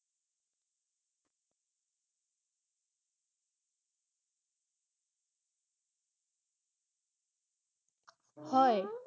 হয় ৷